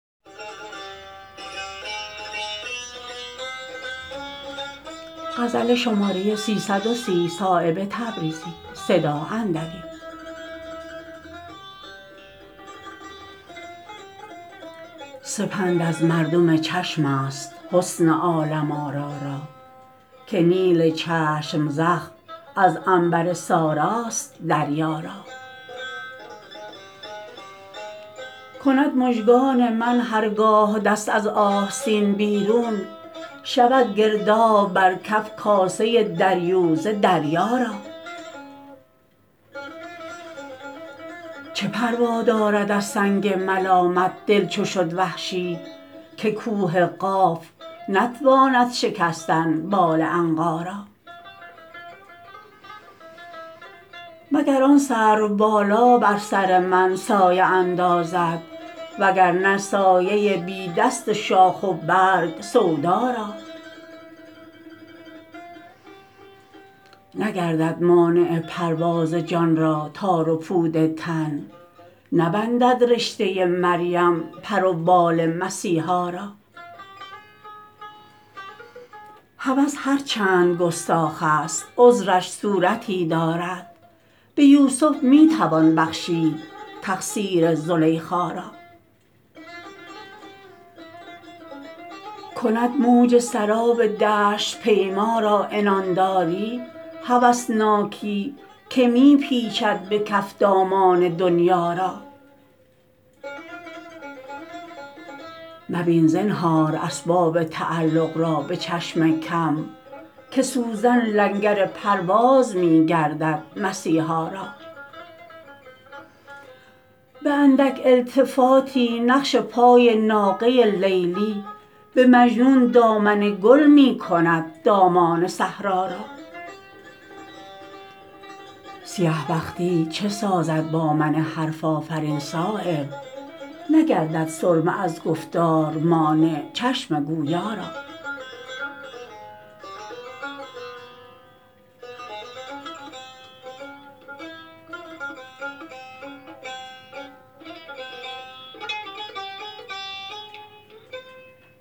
سپند از مردم چشم است حسن عالم آرا را که نیل چشم زخم از عنبر ساراست دریا را کند مژگان من هرگاه دست از آستین بیرون شود گرداب بر کف کاسه دریوزه دریا را چه پروا دارد از سنگ ملامت دل چو شد وحشی که کوه قاف نتواند شکستن بال عنقا را مگر آن سرو بالا بر سر من سایه اندازد وگرنه سایه بی دست شاخ و برگ سودا را نگردد مانع پرواز جان را تار و پود تن نبندد رشته مریم پر و بال مسیحا را هوس هر چند گستاخ است عذرش صورتی دارد به یوسف می توان بخشید تقصیر زلیخا را کند موج سراب دشت پیما را عنانداری هوسناکی که می پیچد به کف دامان دنیا را مبین زنهار اسباب تعلق را به چشم کم که سوزن لنگر پرواز می گردد مسیحا را به اندک التفاتی نقش پای ناقه لیلی به مجنون دامن گل می کند دامان صحرا را سیه بختی چه سازد با من حرف آفرین صایب نگردد سرمه از گفتار مانع چشم گویا را